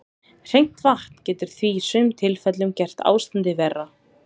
Hreint vatn getur því í sumum tilfellum gert ástandið verra.